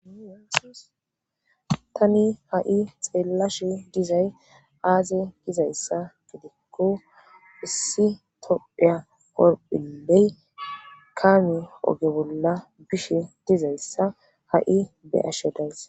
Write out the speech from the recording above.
tani ha'i xeellashe dizay aaze gizayssa gidikko issi topheya korphiley kaami oge bolla bishe dizayssa ha'i be'ashe days